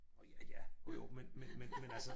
Nå ja ja jo jo men men men men altså